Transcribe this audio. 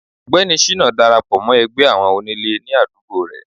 ọgbẹni shina darapọ mọ ẹgbẹ àwọn onílè ní àdúgbò re